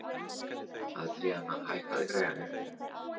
Andríana, hækkaðu í græjunum.